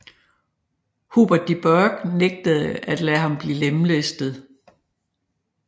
Hubert de Burgh nægtede at lade ham blive lemlæstet